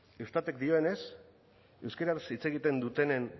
eustatek dioenez euskaraz hitz egiten dutenen